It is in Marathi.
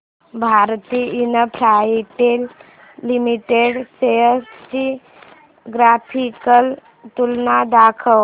भारती इन्फ्राटेल लिमिटेड शेअर्स ची ग्राफिकल तुलना दाखव